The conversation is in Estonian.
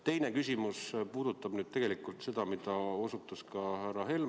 Teine küsimus puudutab tegelikult seda, millele osutas ka härra Helme.